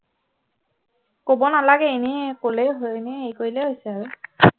কব নালাগে এনেয়ে কলেই হয় এনেয়ে হেৰি কৰিলেই হৈছে আৰু